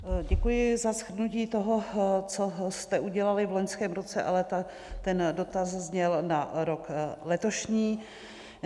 Děkuji za shrnutí toho, co jste udělali v loňském roce, ale ten dotaz zněl na rok letošní.